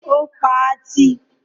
Ó pa á tì.